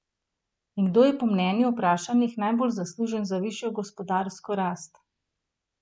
In kdo je po mnenju vprašanih najbolj zaslužen za višjo gospodarsko rast?